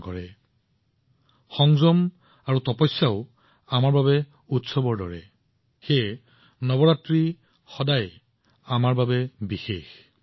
সেয়েহে ধৈৰ্য্য আৰু তপস্যাও আমাৰ বাবে উৎসৱ সেয়েহে নৱৰাত্ৰি আমাৰ সকলোৰে বাবে সদায়েই বিশেষ হৈ আহিছে